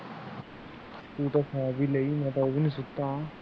ਤੂੰ ਤਾਂ ਸੌ ਵੀ ਲਈ ਮੈ ਤਾਂ ਉਹ ਵੀ ਨਹੀ ਸੁੱਤਾ